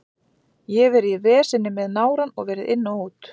Ég hef verið í veseni með nárann og verið inn og út.